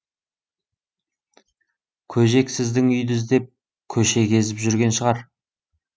көжек сіздің үйді іздеп көше кезіп жүрген шығар